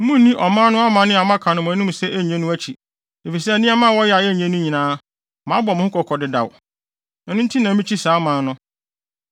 Munnni ɔman no amanne a maka no mo anim sɛ enye no akyi, efisɛ nneɛma a wɔyɛ a enye no nyinaa, mabɔ mo ho kɔkɔ dedaw. Ɛno nti na mikyi saa aman no.